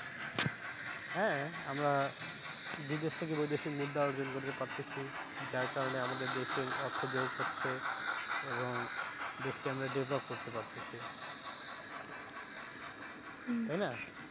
হ্যাঁ, আমারা বিদেশ থেকে বৈদেশিক মুদ্রা অর্জন করতে পারতাছি, যার কারণে আমাদের দেশে অর্থযোগ হচ্ছে এবং দেশকে আমরা develop করতে পারতাছি হম তাই না?